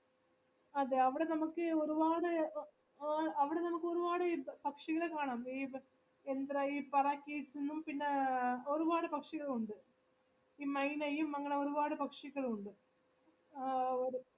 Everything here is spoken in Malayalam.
അതെ അവിടെ നമുക്ക് ഒരുപാട് എ അവിടെ നമുക്ക് ഒരുപാട് പക്ഷികൾ കാണാം പിന്ന ഒരുപാട് പക്ഷികള് ഉണ്ട് ഈ മൈന യും അങ്ങനെ ഒരുപാട് പക്ഷികളും ഉണ്ട് ആ ഒര്